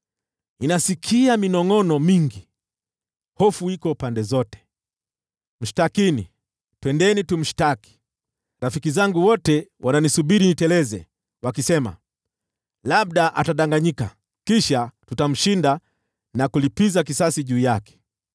Ninasikia minongʼono mingi, “Hofu iko pande zote! Mshtakini! Twendeni tumshtaki!” Rafiki zangu wote wananisubiri niteleze, wakisema, “Labda atadanganyika; kisha tutamshinda na kulipiza kisasi juu yake.”